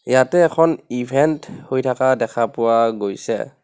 ইয়াতে এখন ইভেন্ত হৈ থাকা দেখা পোৱা গৈছে.